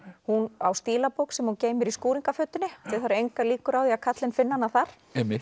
hún á stílabók sem hún geymir í skúringafötunni því það eru engar líkur á að karlinn finni hana þar